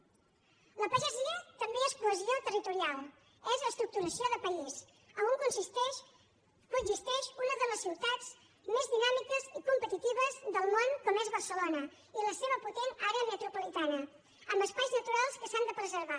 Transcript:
la pagesia també és cohesió territorial és estructuració de país a on coexisteix una de les ciutats més dinàmiques i competitives del món com és barcelona i la seva potent àrea metropolitana amb espais naturals que s’han de preservar